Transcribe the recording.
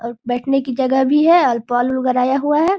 और बैठने की जगह भी है आल पाल हुआ है।